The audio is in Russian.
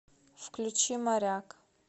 включи моряк